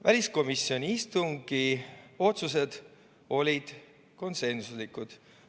Väliskomisjoni istungi otsused olid konsensuslikud.